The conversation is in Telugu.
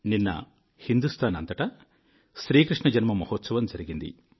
నిన్న హిందూస్తాన్ అంతటా శ్రీ కృష్ణ జన్మ మహోత్సవం జరిగింది